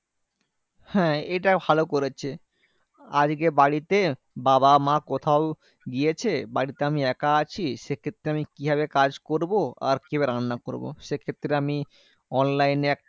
হ্যাঁ এটা ভালো করেছে। আজকে বাড়িতে বাবা মা কোথাও গিয়েছে বাড়িতে আমি একা আছি, সেক্ষেত্রে আমি কিভাবে কাজ করবো? আর কিভাবে রান্না করবো? সেক্ষেত্রে আমি online এ একটা